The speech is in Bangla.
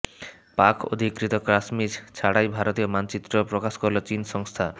পাক অধিকৃত কাশ্মীর ছাড়াই ভারতীয় মানচিত্র প্রকাশ করল চিনা সংস্থা